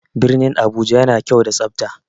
Birnin Abuja yana da kyau da tsafta.